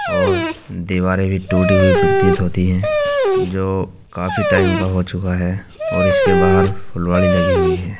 और दीवारें भी टूटी हुई प्रतीत होती है जो काफी टाइम का हो चुका है और इसके बाहर फुलवाड़ी लगी हुई है।